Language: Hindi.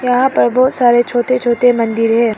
यहां पर बहोत सारे छोटे छोटे मंदिर हैं।